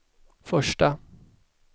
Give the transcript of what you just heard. första